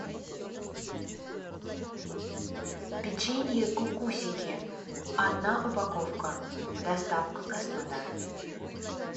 печенье кукусики одна упаковка доставка краснодар